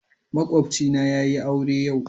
Makwabcina yayi aure yau.